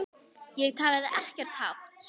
Ég talaði ekkert hátt.